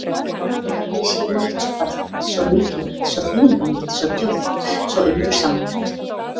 Aldrei hafði ég séð neitt svo fallegt, svo mikilvægt, svo þýðingarmikið, svo djúpt, svo undursamlegt.